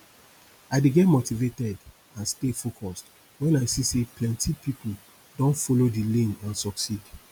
i dey get motivated and stay focused when i see say plenty people don follow di lane and succeed